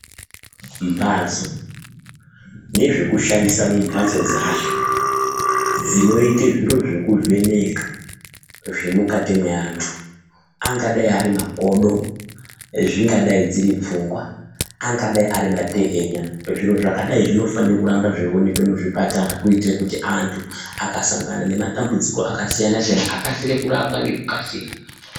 Mhatso, nezvekushandisa mumhatso dzacho, dzinoita zviro zvekuvheneka zvemukati meantu, angadai ari makodo, zvingadai dziripfungwa, angadai ari matehenya, zviro zvakadai zvinofane kuramba zveionekwa muzvipatara kuitira kuti antu akasangana nematambudziko akasiyana-siyana akasire kurapwa ngekukasira.